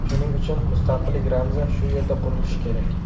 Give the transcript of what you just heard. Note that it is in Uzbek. Shuning uchun mustaqillik ramzi shu yerda qurilishi kerak.